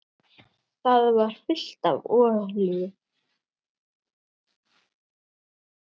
Það var fullt af olíu.